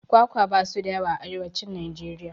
Kwakwa basu da yawa a arewacin Najeriya